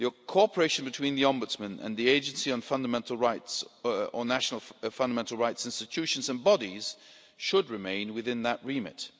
Cooperation between the Ombudsman and the Fundamental Rights Agency on national fundamental rights, institutions and bodies should remain within that remit.